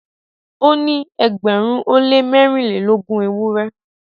O ni ẹgbẹrin o le mẹrinlelogun ewurẹ